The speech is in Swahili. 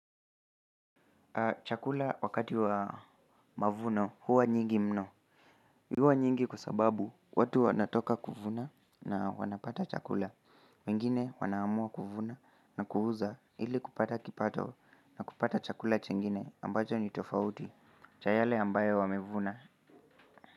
Chakula wakati wa mavuno hua nyingi mno. Huwa nyingi kwa sababu watu wanatoka kuvuna na wanapata chakula. Wengne wanaamua kuvuna na kuuza ili kupata kipato. Kupata chakula chingine ambacho ni tofauti. Cha yale ambayo wamevuna.